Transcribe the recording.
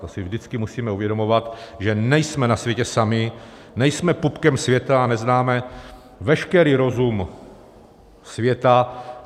To si vždycky musíme uvědomovat, že nejsme na světě sami, nejsme pupkem světa a neznáme veškerý rozum světa.